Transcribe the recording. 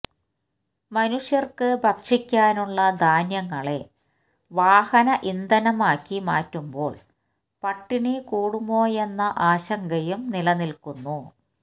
മനുഷ്യര്ക്കു ഭക്ഷിക്കാനുള്ള ധാന്യങ്ങളെ വാഹന ഇന്ധനമാക്കി മാറ്റുമ്പോള് പട്ടിണി കൂടുമോയെന്ന ആശങ്കയും നിലനില്ക്കുന്നു